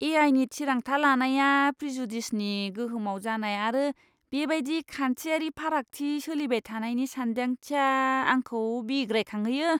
ए.आइ.नि थिरांथा लानाया प्रेजुडिसनि गोहोमाव जानाय आरो बेबायदियै खान्थियारि फारागथि सोलिबाय थानायनि सानदांथिया, आंखौ बिग्रायखांहोयो!